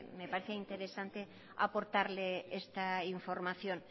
me parece interesante aportarle esta información